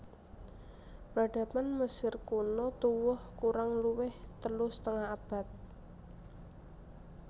Peradaban Mesir Kuno tuwuh kurang luwih telu setengah abad